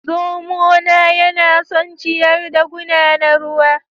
Zomona yana son ciyar da guna na ruwa